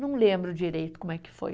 Não lembro direito como é que foi.